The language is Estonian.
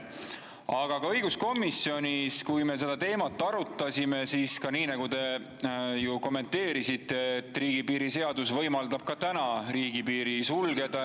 Aga õiguskomisjonis, kui me seda teemat arutasime,, nagu teiegi kommenteerisite, et riigipiiri seadus võimaldab ka täna riigipiiri sulgeda.